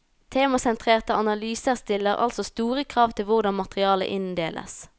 Temasentrerte analyser stiller altså store krav til hvordan materialet inndeles.